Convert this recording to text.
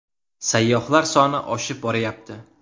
Sayyohlar soni oshib borayapti.